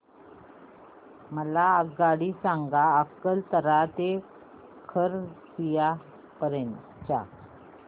मला आगगाडी सांगा अकलतरा ते खरसिया पर्यंत च्या